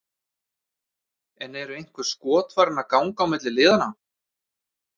En eru einhver skot farin að ganga milli liðanna?